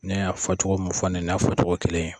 Ne y'a fɔ cɔgɔ min fɔ nin ye, nin y'a fɔ cɔgɔ kelen ye.